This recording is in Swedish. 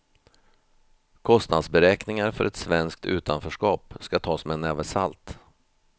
Kostnadsberäkningar för ett svenskt utanförskap ska tas med en näve salt.